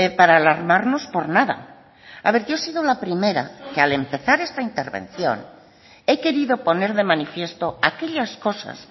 para alarmarnos por nada a ver yo he sido la primera que al empezar esta intervención he querido poner de manifiesto aquellas cosas